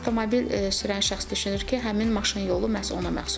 Avtomobil sürən şəxs düşünür ki, həmin maşın yolu məhz ona məxsusdur.